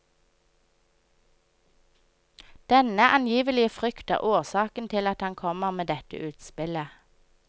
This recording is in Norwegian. Denne angivelige frykt er årsaken til at han kommer med dette utspillet.